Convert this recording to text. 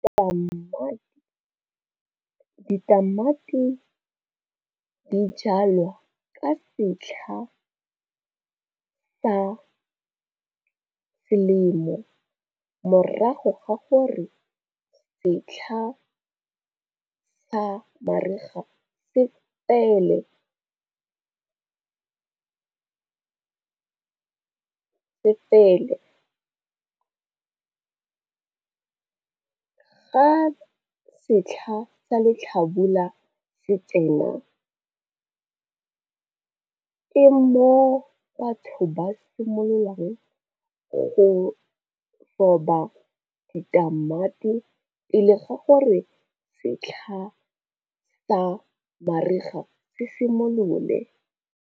ditamati di jalwa ka setlha sa selemo morago ga gore setlha sa mariga se fele, fa setlha sa letlhabula se tsena ke mo batho ba simololang go roba ditamati pele ga gore setlha sa mariga se simolole.